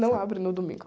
Não abre no domingo.